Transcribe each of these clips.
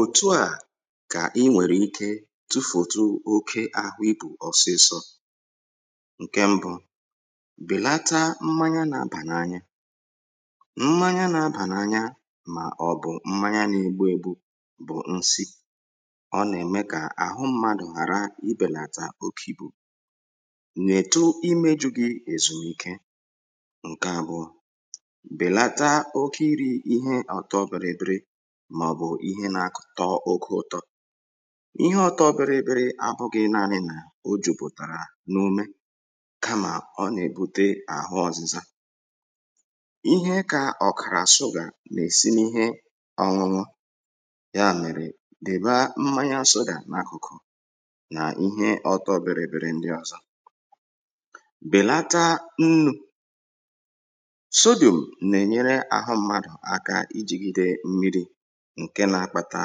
òtuà ka i nwèrè ikė tufòtu oke àhụ ibù ọ̀sịsọ ǹke mbụ bèlata mmanya n’abà n’anya mmanya n’abà n’anya màọ̀bụ̀ mmanya n’egbu ėgbu bụ̀ nsi ọ nà-ème kà àhụ mmadụ̀ hàra ibèlàtà oku̇ nà-ètu imėjụ̇ghị̇ èzùmike tọ oku ụtọ ihe ọta obere ebere abụghị naanị na o jùbụ̀tàrà n’ume kamà ọ nà-èbute àhụ ọ̀zịza ihe kà ọ̀kàrà asụ gà mèe sini ihe ọnwụnwọ ya mèrè dị̀ba mmanya asụ dà n’akụ̀kụ̀ nà ihe ọta obere ebere ndị ọ̀zọ bèlata nnu ǹke nȧ-ȧkpȧtà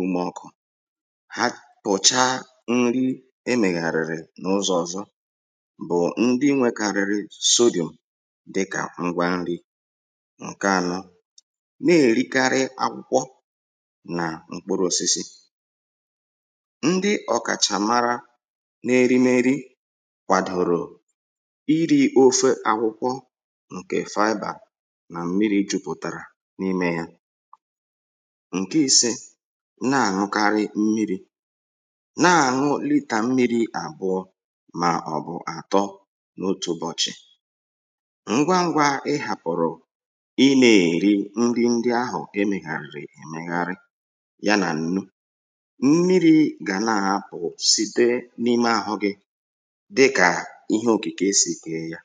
ụmụ̇ ọkụ̇ ha pụ̀chaa nri emègàrị̀rị̀ n’ụzọ̇ ọ̀zọ bụ̀ ndị nwėkarịrị soda dịkà ngwa nri ǹke ànọ na-èrikarị akwụkwọ nà mkpụrụ̇osisi ndị ọ̀kàchàmara na-erimeri kwàdòrò iri̇ ofe akwụkwọ ǹkè fiber nà mmiri̇ jupụ̀tàrà n’imė ya ǹke ise ná-àñụkarị mmịrị̇ ná-àñụlità mmịrị̇ àbụọ mà ọ̀bụ̀ àtọ n’otù ụbọchị ngwa ngwa ihàpụ̀rụ̀ imė èri ndị ndị ahụ̀ emė gà èmegharị ya nà nnu mmịrị̇ gà na-àpụ̀ site n’ime àhụ gị̇ dịkà ihe okike esìkè ya